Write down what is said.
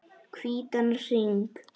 Hvítan hring.